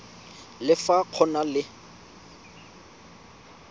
le fa go na le